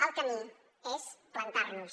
el camí és plantar nos